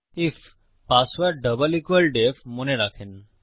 if password double সমান DEF মনে রাখেন